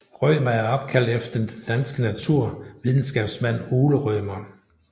Rømer er opkaldt efter den danske naturvidenskabsmand Ole Rømer